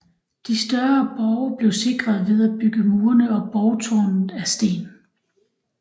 De større borge blev sikret ved at bygge murene og borgtårnet af sten